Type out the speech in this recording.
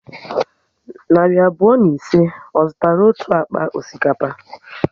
Narị abụọ na ise, ọ zụtara otu akpa osikapa?